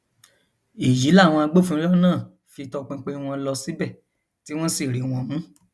èyí làwọn agbófinró náà fi topinpin wọn lọ síbẹ tí wọn sì rí wọn mú